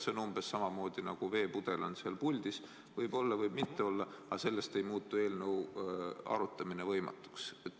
See on umbes samamoodi, nagu on veepudel seal puldis, see võib olla, võib mitte olla, aga sellest ei muutu eelnõu arutamine võimatuks.